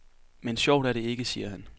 Men sjovt er det ikke, siger han.